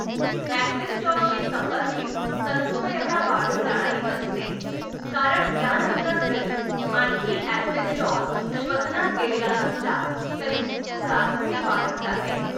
एस्बेस्टॉसशी संबंधित तंतुमयता वाढत जाणारी असते, कारण त्यानंतर जरी आणखी एस्बेस्टॉस श्वसनात गेलेला नसला तरी फुफ्फुसात ती वाढत जाते.